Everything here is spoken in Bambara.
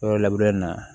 Yɔrɔ labureli na